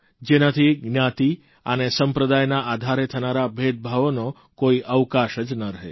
જેનાથી જ્ઞાતિ અને સંપ્રદાયના આધારે થનારા ભેદભાવનો કોઇ અવકાશ જ ન રહે